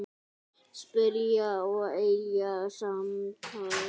Spyrja og eiga samtal.